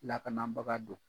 Lakanabaga don